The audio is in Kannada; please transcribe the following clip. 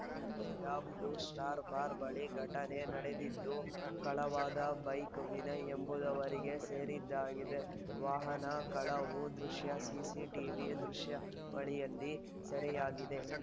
ನಗರದ ಬ್ಲೂ ಸ್ಟಾರ್‌ ಬಾರ್‌ ಬಳಿ ಘಟನೆ ನಡೆದಿದ್ದು ಕಳವಾದ ಬೈಕ್‌ ವಿನಯ್‌ ಎಂಬುವರಿಗೆ ಸೇರಿದ್ದಾಗಿದೆ ವಾಹನ ಕಳವು ದೃಶ್ಯ ಸಿಸಿ ಟಿವಿ ದೃಶ್ಯಾವಳಿಯಲ್ಲಿ ಸೆರೆಯಾಗಿದೆ